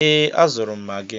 Ee, azụrụ m Magi.